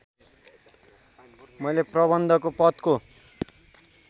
मैले प्रबन्धकको पदको